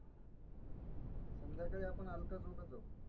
संध्याकाळी आपण अलका चौकात जाऊ.